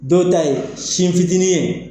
Dɔw ta ye sin fitinin ye.